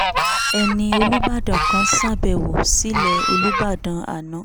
ẹni olùbàdàn kan ṣàbẹ̀wò sílẹ̀ olùbàdàn àná